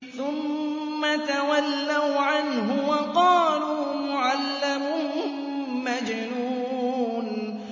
ثُمَّ تَوَلَّوْا عَنْهُ وَقَالُوا مُعَلَّمٌ مَّجْنُونٌ